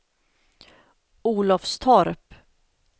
Olofstorp